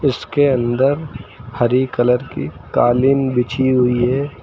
उसके अंदर हरी कलर की कालीन बिछी हुई है।